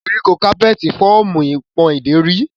Koriko capeti fọọmu ipon ideri.